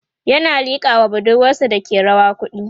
ƴan a liƙa was budurwasa Dake rawa kuɗi